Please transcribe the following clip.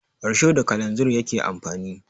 Risho da kalanzir yake amfani